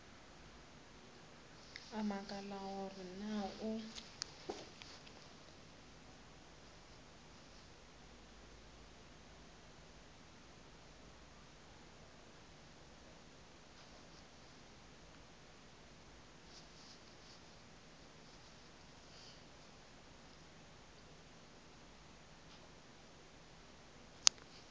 a makala gore na o